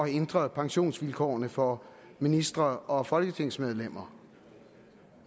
ændre pensionsvilkårene for ministre og folketingsmedlemmer